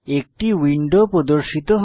একটি উইন্ডো প্রর্দশিত হয়